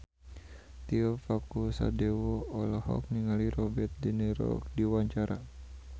Tio Pakusadewo olohok ningali Robert de Niro keur diwawancara